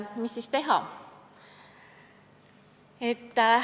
Mis siis teha?